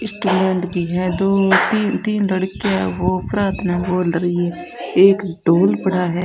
भी हैं दो तीन लड़कियां वो प्रार्थना बोल रही है एक ढोल पड़ा है।